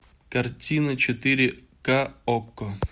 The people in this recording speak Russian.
картина четыре ка окко